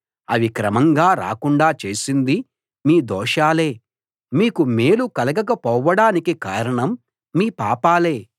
అవి క్రమంగా రాకుండా చేసింది మీ దోషాలే మీకు మేలు కలగక పోవడానికి కారణం మీ పాపాలే